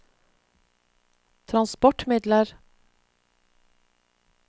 transportmidler